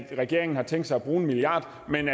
at regeringen har tænkt sig at bruge en milliard kr men